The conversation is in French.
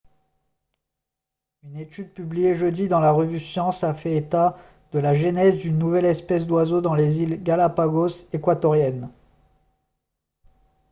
une étude publiée jeudi dans la revue science a fait état de la genèse d'une nouvelle espèce d'oiseau dans les îles galápagos équatoriennes